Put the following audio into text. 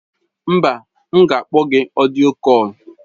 Mba, m ga-akpọ gị na ọdịyo kọl.